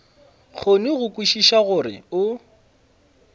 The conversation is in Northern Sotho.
kgone go kwešiša gore o